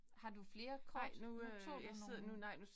Har du flere kort? Nu tog du nogen